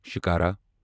shikara